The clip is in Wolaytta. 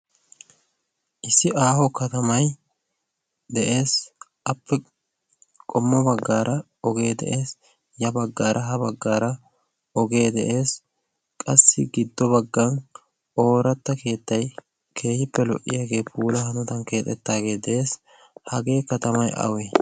issi aaho katamai de7ees. appe qommo baggaara ogee de7ees. ya baggaara ha baggaara ogee de7ees. qassi giddo baggan ooratta keettai keehippe lo77iyaagee puula hanadan keexettaagee de7ees hagee katamai awee?